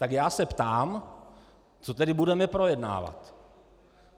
Tak já se ptám, co tedy budeme projednávat.